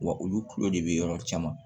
Wa olu kulo de bɛ yɔrɔ caman